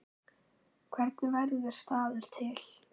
Hvernig verður staður til?